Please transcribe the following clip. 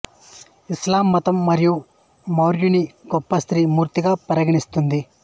ఇస్లాం మతం మరియ మర్యంని గొప్ప స్త్రీ మూర్తిగా పరిగణిస్తుంది